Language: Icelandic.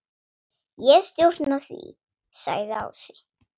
Ég stjórna því, sagði Ási.